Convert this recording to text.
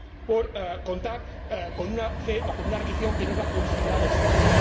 por contar con una fe o con una religión que no es la considerada estándar.